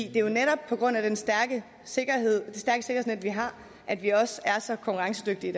jo netop på grund af det stærke sikkerhedsnet vi har at vi også er så konkurrencedygtige